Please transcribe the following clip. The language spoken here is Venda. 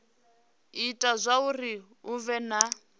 ita zwauri hu vhe na